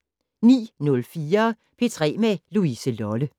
09:04: P3 med Louise Lolle